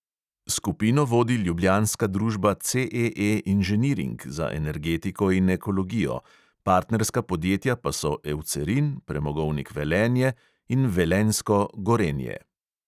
Skupino vodi ljubljanska družba CEE inženiring za energetiko in ekologijo, partnerska podjetja pa so eucerin, premogovnik velenje in velenjsko gorenje.